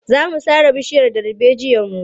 Za mu sare bishiyar darbejiyarmu.